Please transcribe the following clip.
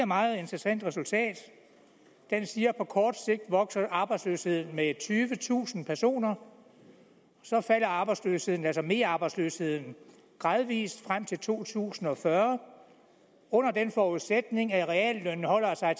meget interessant resultat den siger at på kort sigt vokser arbejdsløsheden med tyvetusind personer og så falder arbejdsløsheden altså merarbejdsløsheden gradvis frem til to tusind og fyrre under den forudsætning at reallønnen holder sig